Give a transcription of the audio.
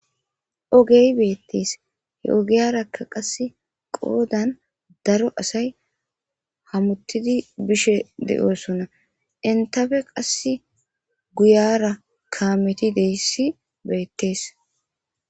ogey beettees he ogiyarakka qasse qoodan daro asay hamuttidi bishe de7oosonna intafe qasse guyara kametideyssi beettees